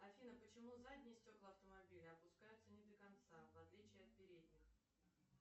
афина почему задние стекла автомобиля опускаются не до конца в отличие от передних